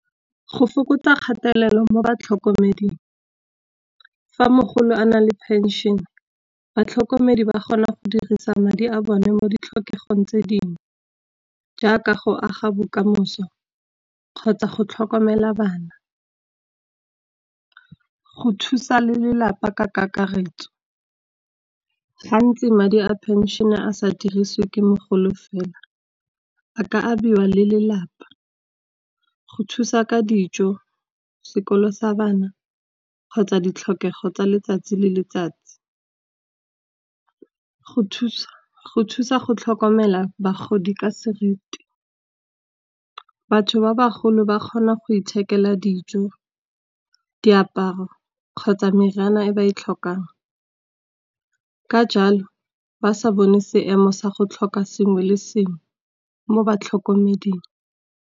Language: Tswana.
Go fokotsa kgatelelo mo batlhokomeding, fa mogolo a na le phenšene batlhokomedi ba kgona go dirisa madi a bone mo ditlhokegong tse dingwe. Jaaka go aga bokamoso kgotsa go tlhokomela bana, go thusa le lelapa ka kakaretso. Gantsi madi a phenšene a sa dirisiwe ke mogolo fela, a ka abiwa le lelapa go thusa ka dijo, sekolo sa bana kgotsa ditlhokego tsa letsatsi le letsatsi. Go thusa go tlhokomela bagodi ka seriti, batho ba bagolo ba kgona go ithekela dijo, diaparo kgotsa meriana e ba e tlhokang. Ka jalo ba sa bone seemo sa go tlhoka sengwe le sengwe mo batlhokomeding.